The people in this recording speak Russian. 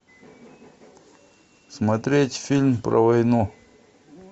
смотреть фильм про войну